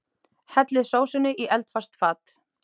Hellið sósunni í eldfast fat.